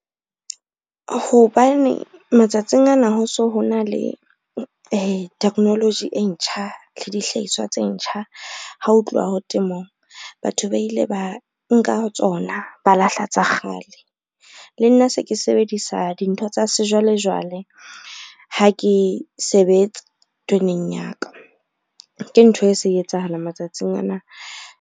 Hobane matsatsing ana ho so ho na le technology e ntjha le dihlahiswa tse ntjha, ha ho tluwa ho temong. Batho ba ile ba nka tsona, ba lahla tsa kgale. Le nna se ke sebedisa dintho tsa sejwalejwale ha ke sebetse toneng ya ka, ke ntho e se etsahala matsatsing ana.